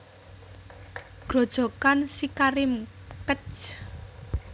Grojogan SiKarim Kec